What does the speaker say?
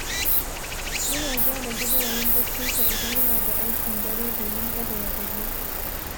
Yana gyara jadawalin barcinsa idan yana da aikin dare domin kada ya gaji.